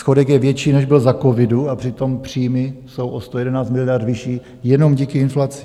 Schodek je větší, než byl za covidu, a přitom příjmy jsou o 111 miliard vyšší jenom díky inflaci.